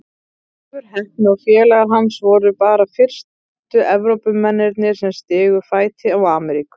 Leifur heppni og félagar hans voru bara fyrstu Evrópumennirnir sem stigu fæti á Ameríku.